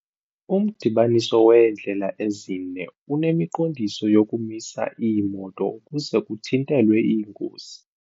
Umdibaniso weendlela ezine unemiqondiso yokumisa iimoto ukuze kuthintelwe iingozi.